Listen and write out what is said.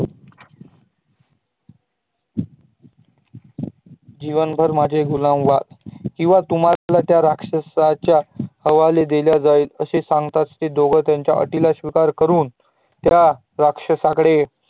जीवनभर माझे गुलाम व्हाल किव्हा तुम्हाला त्या राक्षसाच्या हवाले दिल्या जाईल असे सागताच त्ये दोघे त्यांच्या अटीला स्वीकार करुन त्या राक्षसाकळे